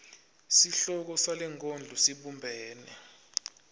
sihloko salenkondlo sibumbene